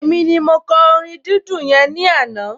Èmi ni mo kọ orin dídùn yẹn ní àná